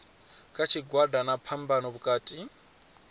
kha tshigwada na phambano vhukati